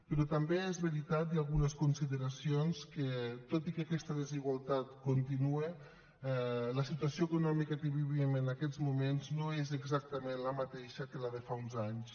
però també és veritat hi ha algunes consideracions que tot i que aquesta desigualtat continua la situació econòmica que vivim en aquests moments no és exactament la mateixa que la de fa uns anys